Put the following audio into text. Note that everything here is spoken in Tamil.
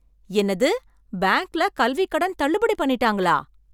என்னது! பேங்க்ல கல்விக்கடன் தள்ளுபடி பண்ணிட்டாங்களா!